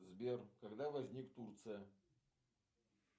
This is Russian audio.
сбер когда возник турция